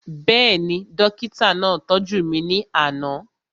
Bẹ́ẹ̀ni, dókítà náà tọ́jú mi ní àná